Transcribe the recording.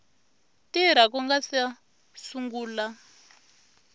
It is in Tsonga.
tirha ku nga si sungula